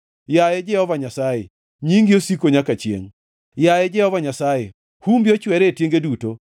Yaye Jehova Nyasaye, nyingi osiko nyaka chiengʼ, yaye Jehova Nyasaye, humbi ochwere e tienge duto.